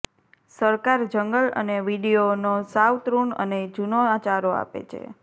સરકાર જંગલ અને વીડીઓનો સાવ તૃણ અને જુનો ચારો આપે છે